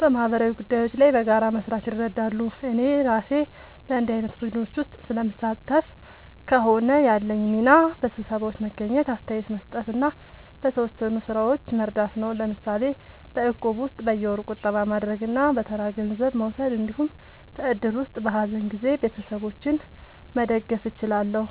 በማህበራዊ ጉዳዮች ላይ በጋራ መስራት ይረዳሉ። እኔ እራሴ በእንዲህ ዓይነት ቡድኖች ውስጥ ስለምሳተፍ ከሆነ፣ ያለኝ ሚና በስብሰባዎች መገኘት፣ አስተያየት መስጠት እና በተወሰኑ ሥራዎች መርዳት ነው። ለምሳሌ በእቁብ ውስጥ በየወሩ ቁጠባ ማድረግ እና በተራ ገንዘብ መውሰድ እንዲሁም በእድር ውስጥ በሀዘን ጊዜ ቤተሰቦችን መደገፍ እችላለሁ።